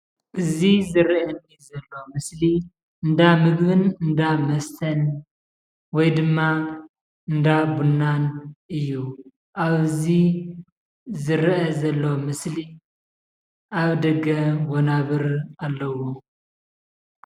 እዚ ዝረአየና ዘሎ ምስሊ እንዳ ምግብን እንዳ መስተን ወይ ድማ እንዳ ቡናን እዩ፣ ኣብዚ ዝረአ ዘሎ ምስሊ ኣብ ደገ ወናብር ኣለው፡፡